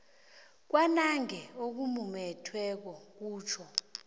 kwanange okumumethweko kutjho